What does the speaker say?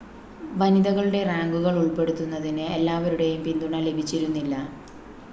വനിതകളുടെ റാങ്കുകൾ ഉൾപ്പെടുത്തുന്നതിന് എല്ലാവരുടെയും പിന്തുണ ലഭിച്ചിരുന്നില്ല